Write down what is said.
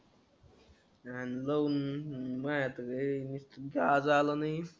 रे का आज आला नाही.